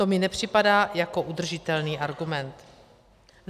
To mi nepřipadá jako udržitelný argument.